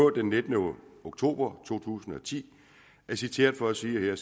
den nittende oktober to tusind og ti er citeret for at sige at